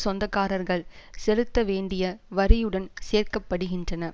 சொந்தக்காரர்கள் செலுத்த வேண்டிய வரியுடன் சேர்க்கப்படுகின்றன